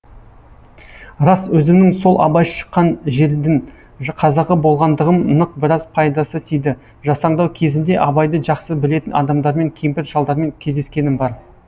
рас өзімнің сол абай шыққан жердің қазағы болғандығым нық біраз пайдасы тиді жасаңдау кезімде абайды жақсы білетін адамдармен кемпір шалдармен кездескенім бар